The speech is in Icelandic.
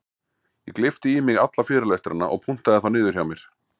Ég gleypti í mig alla fyrirlestrana og punktaði þá niður hjá mér.